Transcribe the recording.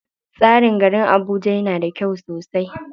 Tsarin garin Abuja yana da kyau sosai.